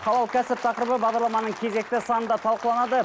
халал кәсіп тақырыбы бағдарламаның кезекті санында талқыланады